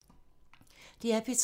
DR P3